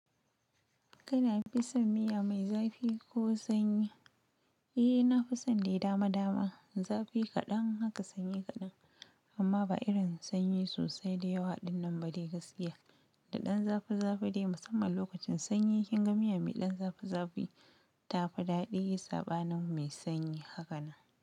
Kana fison miya mai zafi ko sanyi? Eh, na fison dai dama dama, zafi kaɗan haka sanyi kaɗan. Amma ba irin sanyi sosai da yawa ɗinnan ba dai gaskiya. Da ɗan zafi zafi dai musamman lokacin sanyi kin ga miya mai ɗan zafi zafi tafi dadi sabanin mai sanyi haka nan.